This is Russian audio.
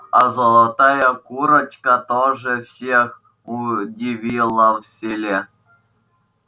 а золотая курочка тоже всех удивила в селе